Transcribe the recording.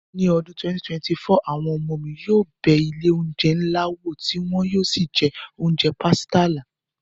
Ní ọdún 2024, àwọn ọmọ mi yóò bẹ ilé oúnjẹ ńlá wò tí wọn yóò sì jẹ oúnjẹ pàsìtílà